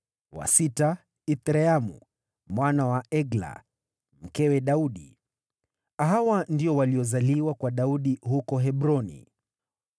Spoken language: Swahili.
wa sita, Ithreamu mwana wa Egla, mkewe Daudi. Hawa ndio waliozaliwa kwa Daudi huko Hebroni.